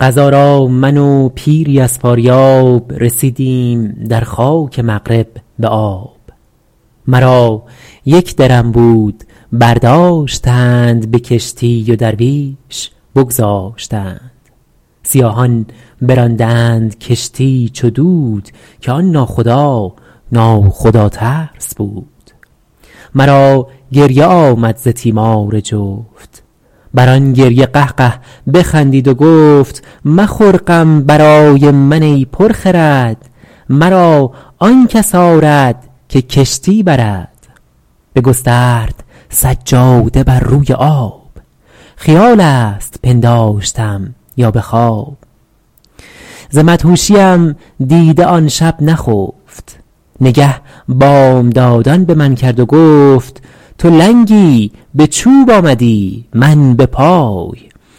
قضا را من و پیری از فاریاب رسیدیم در خاک مغرب به آب مرا یک درم بود برداشتند به کشتی و درویش بگذاشتند سیاهان براندند کشتی چو دود که آن ناخدا نا خدا ترس بود مرا گریه آمد ز تیمار جفت بر آن گریه قهقه بخندید و گفت مخور غم برای من ای پر خرد مرا آن کس آرد که کشتی برد بگسترد سجاده بر روی آب خیال است پنداشتم یا به خواب ز مدهوشیم دیده آن شب نخفت نگه بامدادان به من کرد و گفت تو لنگی به چوب آمدی من به پای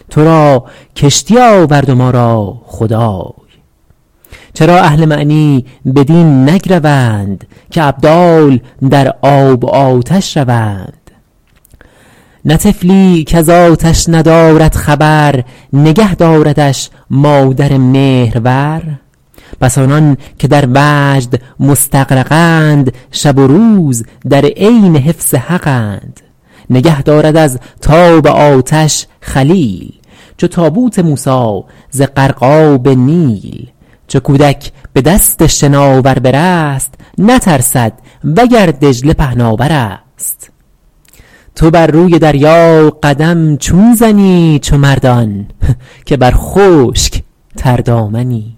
تو را کشتی آورد و ما را خدای چرا اهل معنی بدین نگروند که ابدال در آب و آتش روند نه طفلی کز آتش ندارد خبر نگه داردش مادر مهرور پس آنان که در وجد مستغرقند شب و روز در عین حفظ حقند نگه دارد از تاب آتش خلیل چو تابوت موسی ز غرقاب نیل چو کودک به دست شناور برست نترسد وگر دجله پهناورست تو بر روی دریا قدم چون زنی چو مردان که بر خشک تردامنی